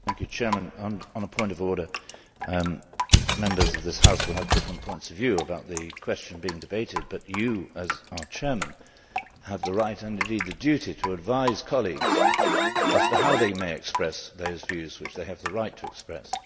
Mr President, on a point of order, Members of this House will have different points of view about the question being debated, but you, as our President, have the right, and indeed the duty, to advise colleagues as to how they may express those views which they have the right to express.